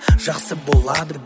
жақсы болады